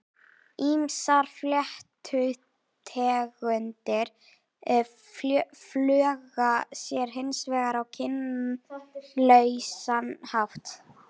Ýmsar fléttutegundir fjölga sér hins vegar á kynlausan hátt.